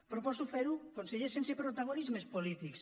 proposo fer ho conseller sense protagonismes polítics